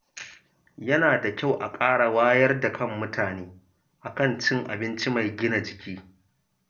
Yana da kyau a ƙara wayar da kan mutane a kan cin abinci mai gina jiki.